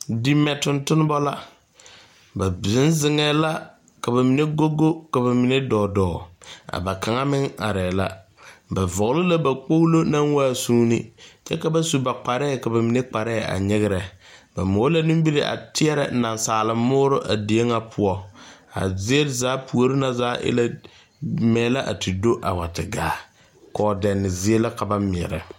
Di mɛ tontonba la, ba bieŋ zeŋɛ la ka ba mine go go ka ba mine dɔ, a ba kaŋa meŋ are la, ba vɔgeli la ba kpolo naŋ waa suune kyɛ ka ba su ba kparre ka ba mine kparre a nyigire ba mola nimiri a teɛrɛ nasaal muuri a die ŋa poɔ, a zie zaa pouri na zaa e la mɛ la a wa te do gaa kɔɔdeɛne zie la ka ba maala.